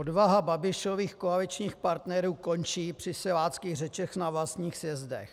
Odvaha Babišových koaličních partnerů končí při siláckých řečech na vlastních sjezdech.